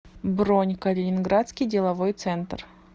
бронь калининградский деловой центр